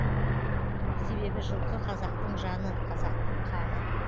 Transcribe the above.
себебі жылқы қазақтың жаны қазақтың қаны